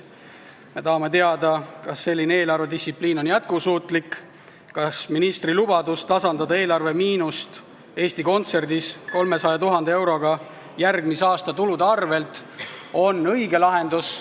Me tahame teada, kas selline eelarvedistsipliin on jätkusuutlik, kas ministri lubadus tasandada eelarvemiinust Eesti Kontserdis 300 000 euroga järgmise aasta eelarveraha arvel on õige lahendus.